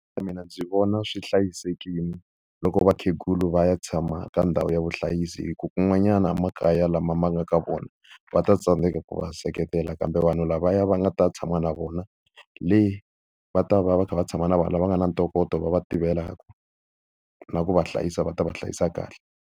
Mina ndzi vona swi hlayisekile loko vakhegula va ya tshama ka ndhawu ya vuhlayisi hikuva kun'wanyana emakaya lama va nga ka wona va ta tsandzeka ku va seketela. Kambe vanhu lavaya va nga ta tshama na vona le, va ta va va kha va tshama na vanhu lava nga na ntokoto, va va tivelaka na ku va hlayisa va ta va hlayisa kahle.